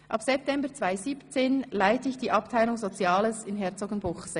Ab September 2017 leite ich die Abteilung Soziales in Herzogenbuchsee.